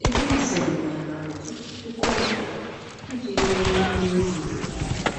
Ekwensu enweela ọtụtụ puku afọ iji mụọ ndị na-ezughị okè.